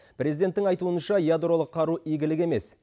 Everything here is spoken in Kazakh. президенттің айтуынша ядролық қару игілік емес